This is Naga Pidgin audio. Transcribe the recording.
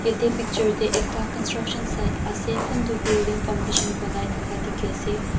yati picture teh ekta construction side ase kunto building foundation ponai taka teki ase.